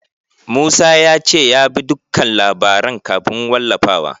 Musa ya ce ya bi dukkan labaran kafin wallafawa.